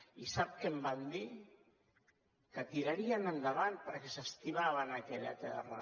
i sap què em van dir que tirarien endavant perquè s’estimaven aquella terra